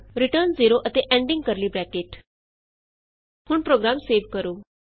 return 0 ਅਤੇ ending curly bracket ending curly bracket ਹੁਣ program save ਕਰੋ